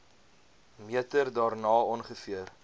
meter daarna ongeveer